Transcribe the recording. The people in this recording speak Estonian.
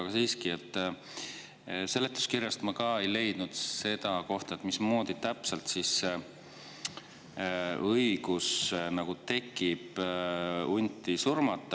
Aga siiski, seletuskirjast ma ei leidnud seda, mismoodi täpselt tekib siis õigus hunti surmata.